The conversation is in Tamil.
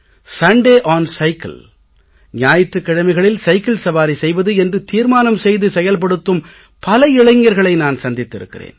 சுண்டே ஒன் சைக்கிள் ஞாயிற்றுக் கிழமைகளில் சைக்கிள் சவாரி செய்வது என்று தீர்மானம் செய்து செயல்படுத்தும் பல இளைஞர்களை நான் சந்தித்து இருக்கிறேன்